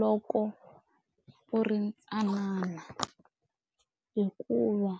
loko u ri ntsanana hikuva.